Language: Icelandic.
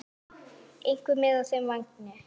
Einhver með á þeim vagni?